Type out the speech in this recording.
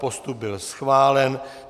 Postup byl schválen.